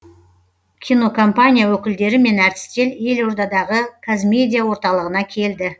кинокомпания өкілдері мен әртістер елордадағы қазмедиа орталығына келді